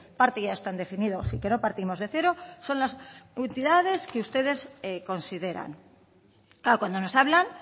parte ya están definidos y que no partimos de cero son las entidades que ustedes consideran claro cuando nos hablan